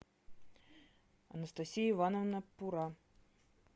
анастасия ивановна пура